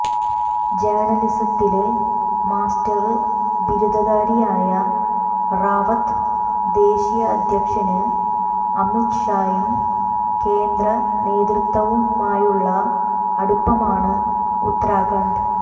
ജേര്ണലിസത്തില് master ബിരുദധാരിയായ റാവത്ത് ദേശീയ അധ്യക്ഷന് അമിത്ഷായും കേന്ദ്രനേതൃത്വവുമായുള്ള അടുപ്പമാണ് ഉത്തരാഖണ്ഡ്